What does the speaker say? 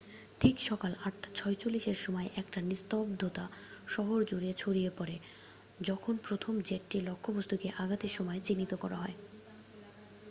ঠিক সকাল ৮ঃ৪৬এর সময় একটা নিস্তব্ধতা শহর জুড়ে ছড়িয়ে পড়ে যখন প্রথম জেটটি লক্ষ্যবস্তুকে আঘাতের সময় চিহ্নিত করা হয়।